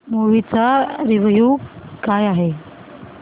movie चा review काय आहे